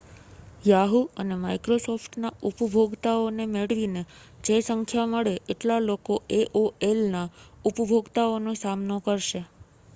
Yahoo અને Microsoft ના ઉપભોગતાઓ ને મેળવીને જે સંખ્યા મળે એટલા લોકો aolના ઉપભોગતાઓનો સામનો કરશે